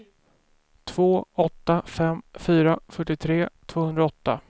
två åtta fem fyra fyrtiotre tvåhundraåtta